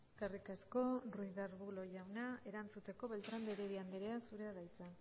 eskerrik asko ruiz de aburlo jauna erantzuteko beltrán de heredia andrea zurea da hitza